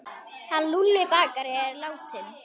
Hann Lúlli bakari er látinn.